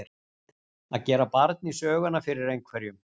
Að gera barn í söguna fyrir einhverjum